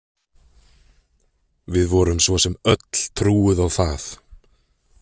Við vorum svo sem öll trúuð á það.